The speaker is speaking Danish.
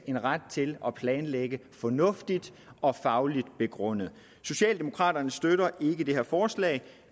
en ret til at planlægge fornuftigt og fagligt begrundet socialdemokraterne støtter ikke det her forslag